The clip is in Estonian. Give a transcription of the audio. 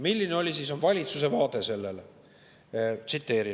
Milline oli siis valitsuse vaade sellele?